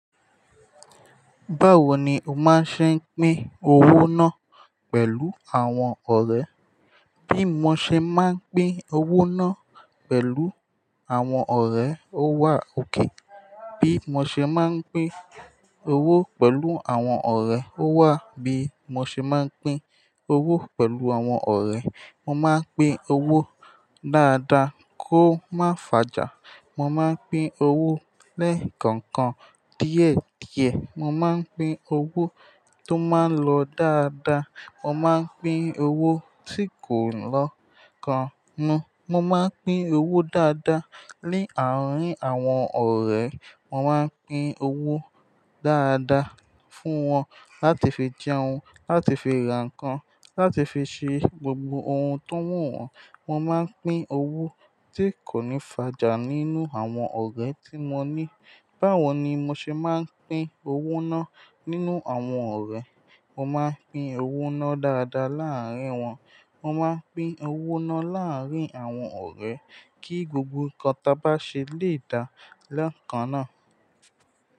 Báwo ni o máa ṣe pín owó náà pẹ̀lú àwọn ọ̀rẹ́? Bí mo ṣe máa ń pín owó náà pẹ̀lú àwọn ọ̀rẹ́, ó wà òkay. Bí mo ṣe máa ń pín owó pẹ̀lú àwọn ọ̀rẹ́, ó wà bí mo ṣe máa ń pín owó pẹ̀lú àwọn ọ̀rẹ́. Mo máa ń pín owó dáadáa kó má fajà. Mo máa ń pín owó lẹ́ẹ̀kọ̀kan, díẹ̀díẹ̀. Mo máa ń pín owó tó máa ń lọ dáadáa. Mo máa ń pín owó tí kò lọ gan-an. Mo máa ń pín owó dáadáa láàárín àwọn ọ̀rẹ́. Mo máa ń pín owó dáadáa fún wọn láti fi jẹun, láti fi ra nǹkan, láti fi ṣe gbogbo ohun tó wù wọ́n. Mo máa ń pín owó tí kò ní fajà nínú àwọn ọ̀rẹ́ tí mo ní. Báwo ni mo ṣe máa ń pín owó náà nínú àwọn ọ̀rẹ́? Mo máa pín owó náà dáadáa láàárín wọn. Mo máa pín owó náà láàárín àwọn ọ̀rẹ́ kí gbogbo nǹkan tí a bá ṣe lè dá lọ́kàn náà.